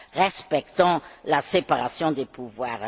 Respectons la séparation des pouvoirs.